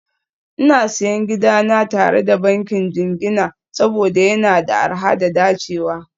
Ina Siyan gidana tare da bankin jingina saboda yana da arha da dacewa